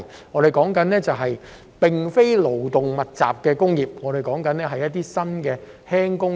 我所說的並非勞工密集的工業，而是新型輕工業。